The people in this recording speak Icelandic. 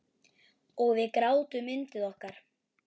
Og við grátum yndið okkar.